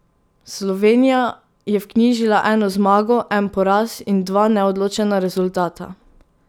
Slovenija je vknjižila eno zmago, en poraz in dva neodločena rezultata.